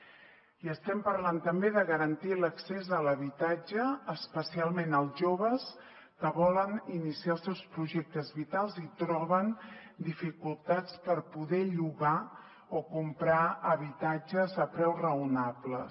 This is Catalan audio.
i estem parlant també de garantir l’accés a l’habitatge especialment als joves que volen iniciar els seus projectes vitals i troben dificultats per poder llogar o comprar habitatges a preus raonables